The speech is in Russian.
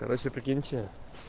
короче прикиньте